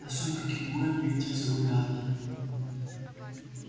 на сумерки буен ветер загулял